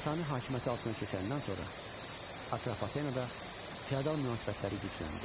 Sasani hakimiyyəti altına keçəndən sonra Atropatenada feodal münasibətləri gücləndi.